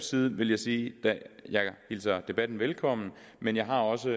side vil jeg sige at jeg hilser debatten velkommen men jeg har også